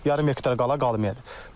Yarım hektar qala qalmayıb.